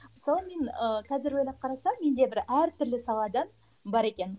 мысалы мен ы қазір ғана қарасам менде бір әр түрлі салада бар екен